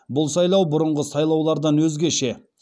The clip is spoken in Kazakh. бұл сайлау бұрынғы сайлаулардан өзгеше